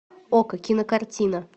окко кинокартина